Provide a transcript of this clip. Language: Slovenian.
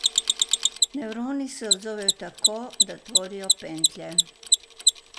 Nevroni se odzovejo tako, da tvorijo pentlje.